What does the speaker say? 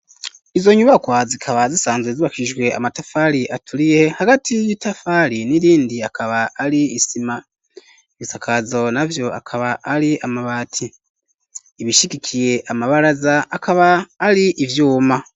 Izo nyubakwa zikaba zisanzwe zubakishijwe amatafari aturiye, hagati y'itafari n'irindi akaba ari isima; ibisakazo navyo akaba ari amabati, ibishigikiye amabaraza akaba ari ivyuma.